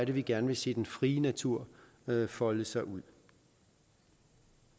vi gerne vil se den frie natur folde sig ud